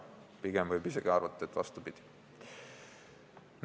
Pigem võib isegi arvata, et vastupidi.